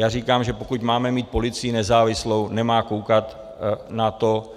Já říkám, že pokud máme mít policii nezávislou, nemá koukat na to,